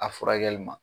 A furakɛli ma